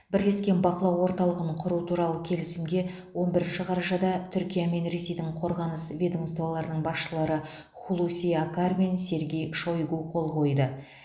бірлескен бақылау орталығын құру туралы келісімге он бірінші қарашада түркия мен ресейдің қорғаныс ведомстволарының басшылары хулуси акар мен сергей шойгу қол қойды